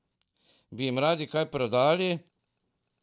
Bi jim radi kaj prodali?